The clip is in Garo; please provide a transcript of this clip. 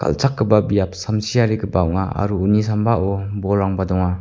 kal·chakgipa biap samsiarigipa ong·a aro uni sambao bolrangba donga.